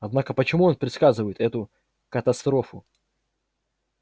однако почему он предсказывает эту катастрофу